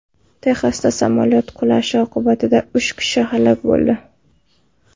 Texasda samolyot qulashi oqibatida uch kishi halok bo‘ldi.